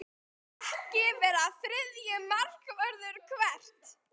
Vill ekki vera þriðji markvörður Hvert?